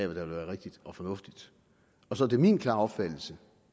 vil være rigtigt og fornuftigt og så er det min klare opfattelse